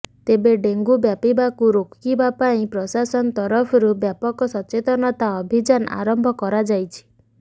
ତେବେ ଡେଙ୍ଗୁ ବ୍ୟାପିବାକୁ ରୋକିବା ପାଇଁ ପ୍ରଶାସନ ତରଫରୁ ବ୍ୟାପକ ସଚେତନତା ଅଭିଯାନ ଆରମ୍ଭ କରାଯାଇଛି